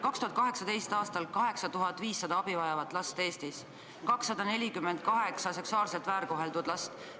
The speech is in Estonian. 2018. aastal oli Eestis 8500 abivajavat last, 248 seksuaalselt väärkoheldud last.